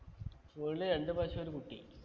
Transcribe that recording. വീട്ടില് രണ്ട് പശു ഒരു കുട്ടി